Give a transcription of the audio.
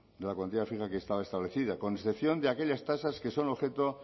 de la cuantía fija que estaba establecida con excepción de aquellas tasas que son objeto